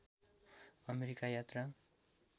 America यात्रा